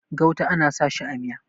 gauta ana sa shi a Miya